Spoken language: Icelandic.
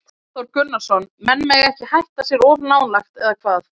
Hafþór Gunnarsson: Menn mega ekki hætt sér of nálægt, eða hvað?